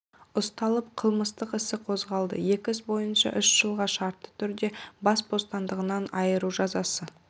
ұсталып қылмыстық іс қозғалды екі іс бойынша үш жылға шартты түрде бас бостандығынан айыру жазасы